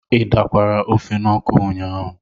ị dakwara ofe n'ọkụ ụnyaahụ?